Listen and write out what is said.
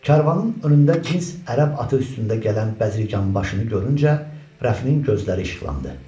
Karvanın önündə cins ərəb atı üstündə gələn bəzirganbaşını görüncə, Rəfinin gözləri işıqlandı.